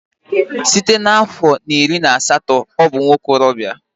Site na afo iri na asatọ ọ bụ nwa okorobịa